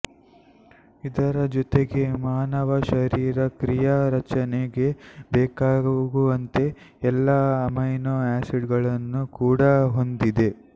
ಇದರ ಜೊತೆಗೆ ಮಾನವ ಶರೀರ ಕ್ರಿಯಾ ರಚನೆಗೆ ಬೇಕಾಗುವಂತಹ ಎಲ್ಲಾ ಅಮೈನೋ ಆಸಿಡ್ಗಳನ್ನು ಕೂಡ ಹೊಂದಿದೆ